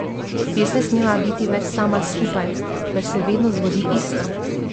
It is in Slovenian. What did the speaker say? Res ne smeva biti več sama skupaj, ker se vedno zgodi isto.